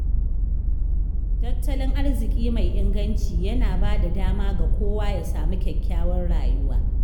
Tattalin arziƙi mai inganci yana bada dama ga kowa ya samu kyakkyawar rayuwa.